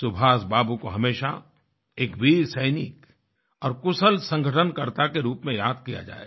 सुभाष बाबू को हमेशा एक वीर सैनिक और कुशल संगठनकर्ता के रूप में याद किया जाएगा